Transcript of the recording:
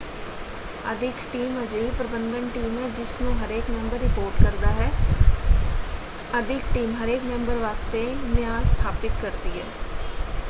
ਅਦਿੱਖ team ਅਜਿਹੀ ਪ੍ਰਬੰਧਨ team ਹੈ ਜਿਸਨੂੰ ਹਰੇਕ ਮੈਂਬਰ ਰਿਪੋਰਟ ਕਰਦਾ ਹੈ। ਅਦਿੱਖ ਟੀਮ ਹਰੇਕ ਮੈਂਬਰ ਵਾਸਤੇ ਮਿਆਰ ਸਥਾਪਿਤ ਕਰਦੀ ਹੈ।